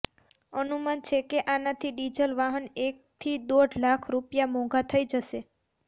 અનુમાન છે કે આનાથી ડીઝલ વાહન એકથી દોઢ લાખ રુપિયા મોંઘા થઈ જશે